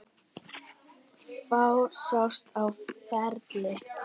Fáir sjást á ferli.